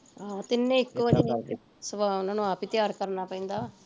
ਆਹੋ ਤਿੰਨੇ ਇੱਕੋ ਜਹੇ ਸਮਾ ਉਹਨਾਂ ਨੂੰ ਆਪ ਈ ਤਿਆਰ ਕਰਨਾ ਪੈਂਦਾ